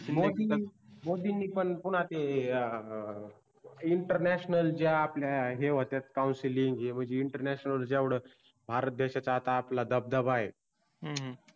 मोदीनी पण पुन्हा ते आ INTERNATIONAL आपल्या ज्या होत्यात COUNSULING जेवढाच भारत देशात आपला दबदबा